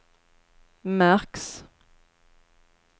märks